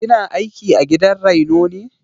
Kina aiki a gidan raino ne?